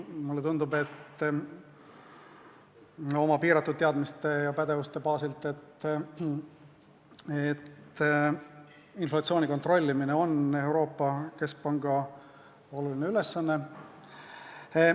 Mulle tundub oma piiratud teadmiste ja pädevuse baasil, et inflatsiooni kontrollimine on Euroopa Keskpanga oluline ülesanne.